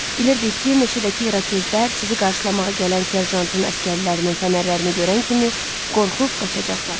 Bilirdik ki, meşədəki İrokezlər sizi qarşılamağa gələn serjantın əsgərlərinin fənərlərini görən kimi qorxub qaçacaqlar.